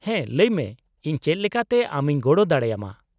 -ᱦᱮᱸ, ᱞᱟᱹᱭᱢᱮ ᱤᱧ ᱪᱮᱫ ᱞᱮᱠᱟᱛᱮ ᱟᱢᱤᱧ ᱜᱚᱲᱚ ᱫᱟᱲᱮ ᱟᱢᱟ ᱾